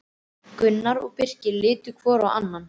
Gunnar og Birkir litu hvor á annan.